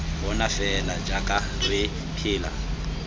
bona fela jaaka re phela